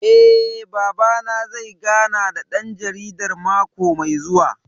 Eh, Babana zai gana da ɗan jaridar mako mai zuwa